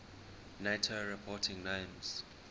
nato reporting names